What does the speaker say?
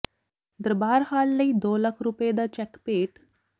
ਦਰਬਾਰ hall ਲਈ ਦੋ ਲੱਖ ਰੁਪਏ ਦਾ ਚੈੱਕ ਭੇਟ